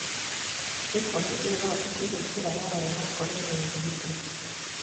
Apple nĩ ĩthondekeire njira yayo ya kũrehe umithio